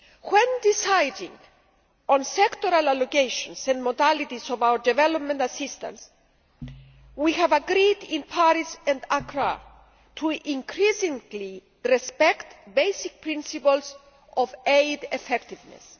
When deciding on sectoral allocations and modalities of our development assistance, we agreed in Paris and Accra to increasingly respect basic principles of aid effectiveness.